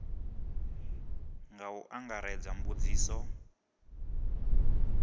nga u angaredza nga mbudziso